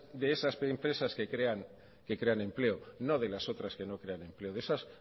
de esas empresas que crean empleo no de las otras que no crean empleo de esas